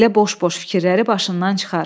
Belə boş-boş fikirləri başından çıxar.